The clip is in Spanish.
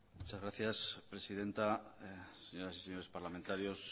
muchas gracias presidenta señoras y señores parlamentarios